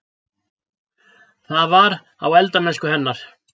Það var: á eldamennsku hennar.